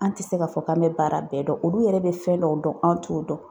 An tɛ se k'a fɔ k'an bɛ baara bɛɛ dɔn, olu yɛrɛ bɛ fɛn dɔw dɔn anw t'o dɔn.